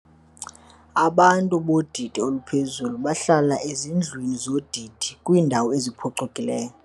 Abantu bodidi oluphezulu bahlala ezindlwini zodidi kwiindawo eziphucukileyo.